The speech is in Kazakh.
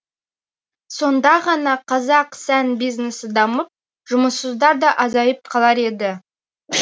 сонда ғана қазақ сән бизнесі дамып жұмыссыздар да азайып қалар еді